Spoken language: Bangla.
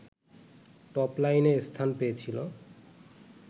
টপলাইনে স্থান পেয়েছিল